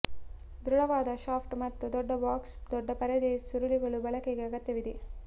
ದೃಢವಾದ ಶಾಫ್ಟ್ ಮತ್ತು ದೊಡ್ಡ ಬಾಕ್ಸ್ ದೊಡ್ಡ ಪರದೆ ಸುರುಳಿಗಳ ಬಳಕೆಗೆ ಅಗತ್ಯವಿದೆ